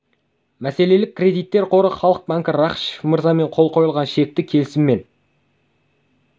мәселелік кредиттер қоры халық банкі рақышев мырзамен қол қойылған шекті келісіммен